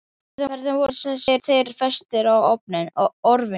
Hvernig voru þeir festir á orfin?